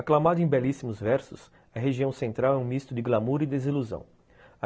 Aclamado em belíssimos versos, a região central é um misto de glamour e desilusão.